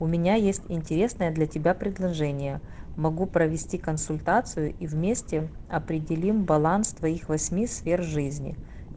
у меня есть интересное для тебя предложение могу провести консультацию и вместе определим баланс твоих восьми сфер жизни